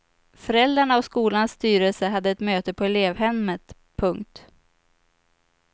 Föräldrarna och skolans styrelse hade ett möte på elevhemmet. punkt